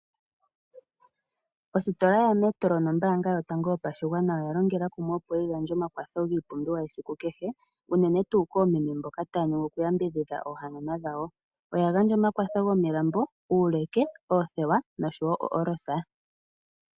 Ositola yaMetro nombaanga yotango yopashigwana oya longela kumwe opo yi gandje omakwatho ngiipumbiwa yesiku kehe , uunene tuu koomeme mboka ta ya nyengwa oku yambidhidha oohanana dhawo , oya gandja omakwatho gomilambo , uuleke, oothewa noOrosa.